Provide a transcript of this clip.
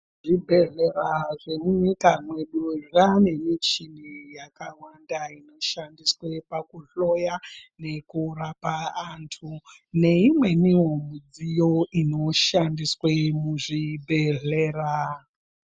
Zvibhedhlera zvemunyika mwedu zvaane michini yakawanda inoshandiswe pakuhloya, nekurapa antu, neimweniwo midziyo inoshandiswe muzvibhedhlera.